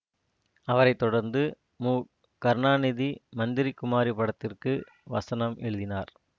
அவரை தொடர்ந்து மு கருணாநிதி மந்திரி குமாரி படத்திற்கு வசனம் எழுதினார்